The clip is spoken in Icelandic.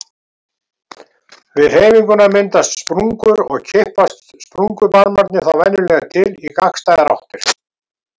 Við hreyfinguna myndast sprungur og kippast sprungubarmarnir þá venjulega til í gagnstæðar áttir.